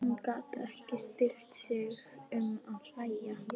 Hann gat ekki stillt sig um að hlæja.